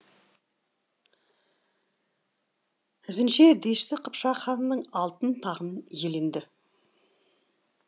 ізінше дешті қыпшақ ханының алтын тағын иеленді